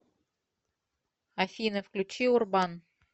афина включи урбан